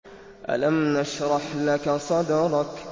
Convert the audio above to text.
أَلَمْ نَشْرَحْ لَكَ صَدْرَكَ